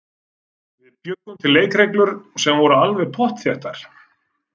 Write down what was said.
Við bjuggum til leikreglur sem voru alveg pottþéttar.